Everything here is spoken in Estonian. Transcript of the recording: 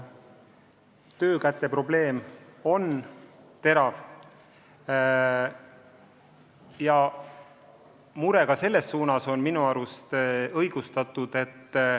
Töökäte probleem on terav ja mure selle pärast on ka minu arust õigustatud.